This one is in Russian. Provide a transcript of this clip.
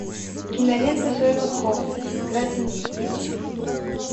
кинолента шерлок холмс игра теней включи